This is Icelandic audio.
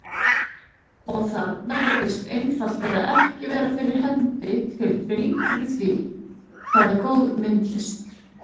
Og þarna virðist einfaldlega ekki vera fyrir hendi tilfinning fyrir því, hvað er góð myndlist.